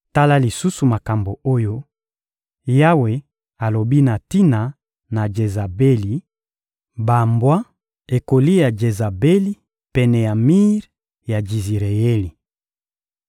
Tala lisusu makambo oyo Yawe alobi na tina na Jezabeli: «Bambwa ekolia Jezabeli pene ya mir ya Jizireyeli.